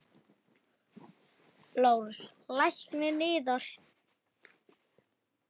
LÁRUS: Lækninn yðar?